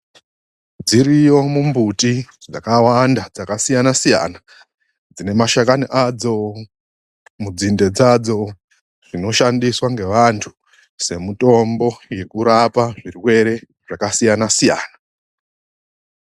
Dziriyo mumbuti dzakawanda, dzakasiyana-siyana. Dzine mashakani adzo, mudzinde dzadzo, zvinoshandiswa ngevanthu semutombo yekurapa zvirwere zvakasiyana - siyana.